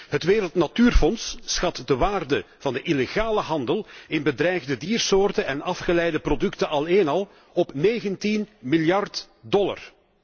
Het Wereldnatuurfonds schat de waarde van de illegale handel in bedreigde diersoorten en afgeleide producten alleen al op 19 miljard dollar.